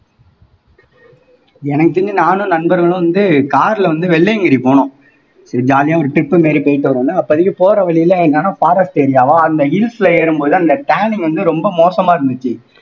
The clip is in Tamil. எனக்கு தெரிஞ்சு நானும் நண்பர்களும் வந்து car ல வந்து வெள்ளையங்கிரி போனோம் jolly யா ஒரு trip மாதிரி போயிட்டு வருவோம்ல அப்போதைக்கு போற வழியிலே என்னன்னா forest area வா அந்த hills ல ஏறும்போது அந்த turning வந்து ரொம்ப மோசமா இருந்துச்சு